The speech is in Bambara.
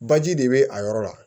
Baji de bɛ a yɔrɔ la